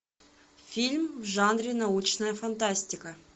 фильм в жанре научная фантастика